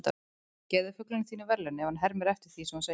Gefðu fuglinum þínum verðlaun ef hann hermir eftir því sem þú segir.